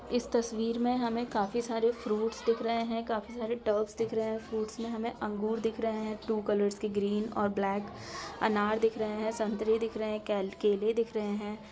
इस तस्वीर में हमे काफी सारे फ्रूट्स दिख रहे है काफी सारे टब्स दिख रहे है फ्रूट्स में हमे अंगूर दिख रहे हैटू कलर्स के ग्रीन और ब्लैक अनार दिख रहे है संतरे दिख रहे है कैल केले दिख रहे है|